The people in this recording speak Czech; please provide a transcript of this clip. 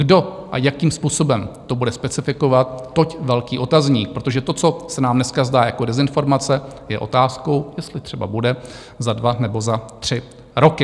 Kdo a jakým způsobem to bude specifikovat, toť velký otazník, protože to, co se nám dneska zdá jako dezinformace, je otázkou, jestli třeba bude za dva nebo za tři roky.